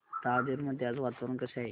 राजूर मध्ये आज वातावरण कसे आहे